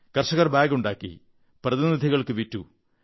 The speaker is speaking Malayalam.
കർഷകർ ബാഗുണ്ടാക്കി പ്രതിനിധികൾക്കു വിറ്റു